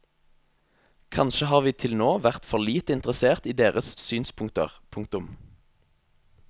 Kanskje har vi til nå vært for lite interessert i deres synspunkter. punktum